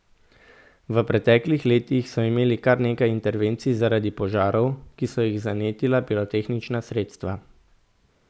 V preteklih letih so imeli kar nekaj intervencij zaradi požarov, ki so jih zanetila pirotehnična sredstva.